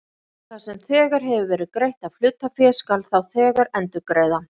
Það sem þegar hefur verið greitt af hlutafé skal þá þegar endurgreiða.